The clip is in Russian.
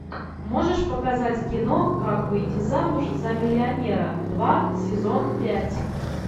можешь показать кино как выйти замуж за миллионера два сезон пять